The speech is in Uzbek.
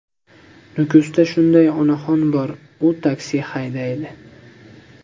Nukusda shunday onaxon bor: u taksi haydaydi.